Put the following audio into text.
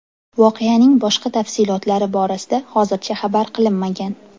Voqeaning boshqa tafsilotlari borasida hozircha xabar qilinmagan.